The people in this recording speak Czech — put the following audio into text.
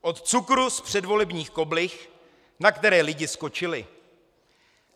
Od cukru z předvolebních koblih, na které lidi skočili.